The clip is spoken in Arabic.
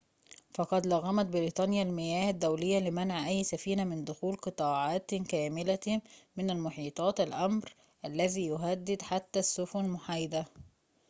فقد لغمت بريطانيا المياه الدولية لمنع أي سفينة من دخول قطاعاتٍ كاملةٍ من المحيطات الأمر الذي يهدد حتى السفن المحايدة